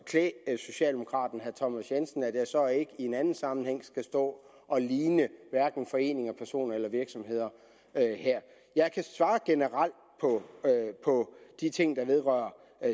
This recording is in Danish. klæde socialdemokraten herre thomas jensen at jeg så ikke i en anden sammenhæng skal stå og ligne hverken foreninger personer eller virksomheder her jeg kan svare generelt på de ting der vedrører